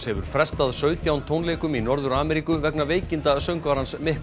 hefur frestað sautján tónleikum í Norður Ameríku vegna veikinda söngvarans